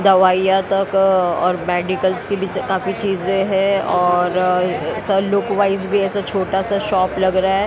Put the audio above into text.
दवाइयां तक और मेडिकल्स काफी चीजे है और सर लोक वाइस भी ऐसा छोटा-सा शॉप लग रहा है।